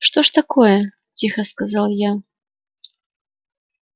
что ж такое тихо сказал я